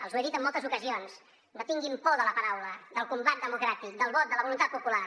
els ho he dit en moltes ocasions no tinguin por de la paraula del combat democràtic del vot de la voluntat popular